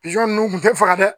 Pizɔn ninnu tun tɛ faga dɛ